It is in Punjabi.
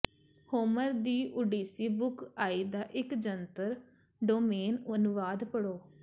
ਹੋਮਰ ਦੀ ਓਡੀਸੀ ਬੁੱਕ ਆਈ ਦਾ ਇੱਕ ਜਨਤਕ ਡੋਮੇਨ ਅਨੁਵਾਦ ਪੜ੍ਹੋ